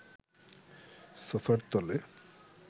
সোফার তলে